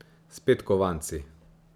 Spet kovanci.